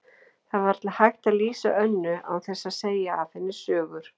Það er varla hægt að lýsa Önnu án þess að segja af henni sögur.